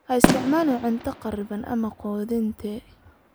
Ha isticmaalin cunto kharriban ama qudhuntay.